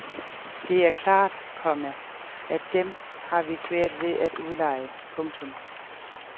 Det er klart, komma at dem har vi svært ved at udleje. punktum